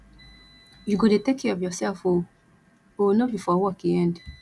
you go dey take care of yourself oo oo no be for work e end